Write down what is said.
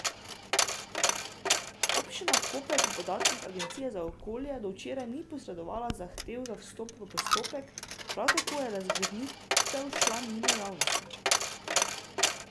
Občina Koper po podatkih Agencije za okolje do včeraj ni posredovala zahteve za vstop v postopek, prav tako je razgrnitev šla mimo javnosti.